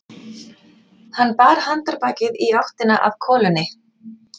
Hann bar handarbakið í áttina að kolunni.